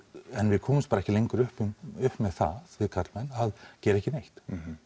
en við komumst bara ekki lengur upp upp með það við karlmenn að gera ekki neitt